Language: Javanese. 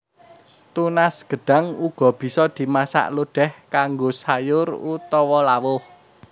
Tunas gedhang uga bisa dimasak lodèh kanggo sayur utawa lawuh